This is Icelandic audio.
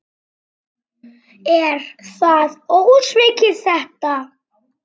Er það ósvikið þetta?